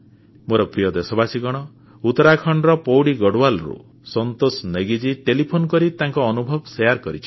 ମୋର ପ୍ରିୟ ଦେଶବାସୀଗଣ ଉତ୍ତରାଖଣ୍ଡର ପୌଡ଼ି ଗଡ଼ୱାଲରୁ ସନ୍ତୋଷ ନେଗୀଜୀ ଟେଲିଫୋନ୍ କରି ତାଙ୍କ ଅନୁଭବ ବାଣ୍ଟିଛନ୍ତି